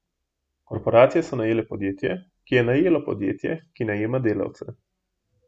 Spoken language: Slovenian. Korporacije so najele podjetje, ki je najelo podjetje, ki najema delavce.